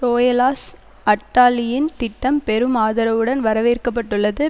ரோயலாஸ் அட்டாலியின் திட்டம் பெரும் ஆதரவுடன் வரவேற்கப்பட்டுள்ளது